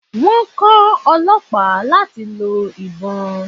Wón kó Ọlọ́pàá láti lọ ìbon.